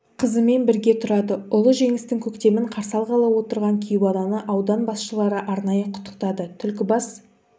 қызымен бірге тұрады ұлы жеңістің көктемін қарсы алғалы отырған кейуананы аудан басшылары арнайы құттықтады түлкібас